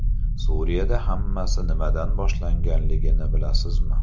Suriyada hammasi nimadan boshlanganligini bilasizmi?